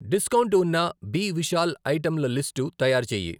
Discount ఉన్న B Vishal ఐటెంల list తయారుచేయి.